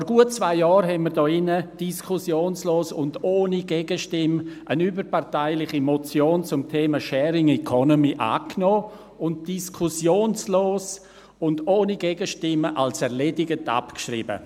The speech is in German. – Vor gut zwei Jahren nahmen wir hier diskussionslos und ohne Gegenstimme eine überparteiliche Motion zum Thema Sharing Economy an und schrieben sie diskussionslos und ohne Gegenstimmen als erledigt ab.